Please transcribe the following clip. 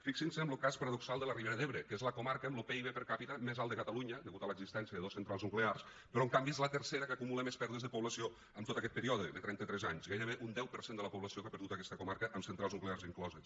fixin se en lo cas paradoxal de la ribera d’ebre que és la comarca amb lo pib per capita més alt de catalunya degut a l’existència de dos centrals nuclears però en canvi és la tercera que acumula més pèrdues de població en tot aquest període de trenta tres anys gairebé un deu per cent de la població que ha perdut aquesta comarca amb centrals nuclears incloses